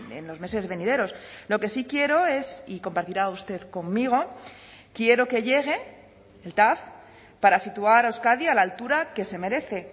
en los meses venideros lo que sí quiero es y compartirá usted conmigo quiero que llegue el tav para situar a euskadi a la altura que se merece